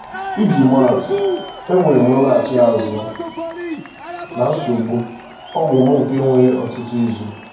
Iji maa atụ, e nwere m nlọghachi azụ na nsogbu ọgwụ m nke were ọtụtụ izu.